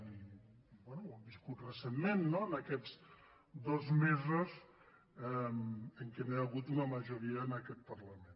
i bé ho hem viscut recentment no en aquests dos mesos en què no hi ha hagut una majoria en aquest parlament